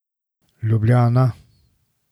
Ljubljana.